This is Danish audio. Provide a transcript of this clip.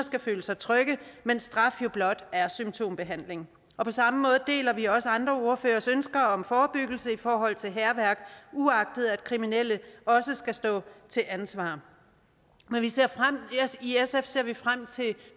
skal føle sig tryg mens straf jo blot er symptombehandling på samme måde deler vi også andre ordføreres ønske om forebyggelse i forhold til hærværk uagtet at kriminelle også skal stå til ansvar i sf ser vi frem til